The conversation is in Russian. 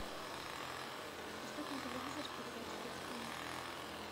поставь на телевизоре передачу детский мир